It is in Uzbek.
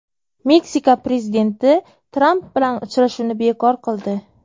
Meksika prezidenti Tramp bilan uchrashuvni bekor qildi.